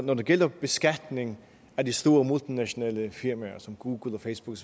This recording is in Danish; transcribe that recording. når det gælder beskatning af de store multinationale firmaer som google facebook